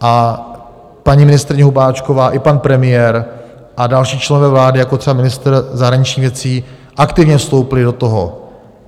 A paní ministryně Hubáčková i pan premiér a další členové vlády, jako třeba ministr zahraničních věcí, aktivně vstoupili do toho.